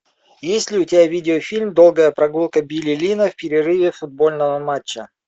есть ли у тебя видеофильм долгая прогулка билли линна в перерыве футбольного матча